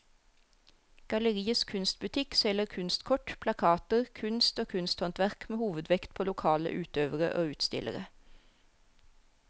Galleriets kunstbutikk selger kunstkort, plakater, kunst og kunsthåndverk med hovedvekt på lokale utøvere og utstillere.